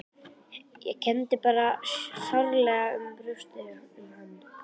Ég kenndi bara sárlega í brjósti um hann.